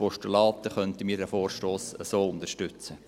Dann könnten wir diesen Vorstoss so unterstützen.